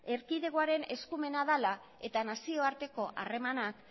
erkidegoaren eskumena dela eta nazioarteko harremanak